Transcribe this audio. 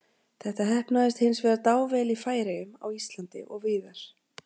Þetta heppnaðist hins vegar dável í Færeyjum, á Íslandi og víðar.